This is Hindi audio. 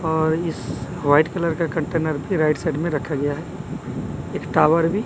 और इस वाइट कलर का कंटेनर भी राइट साइड में रखा गया है एक टावर भी--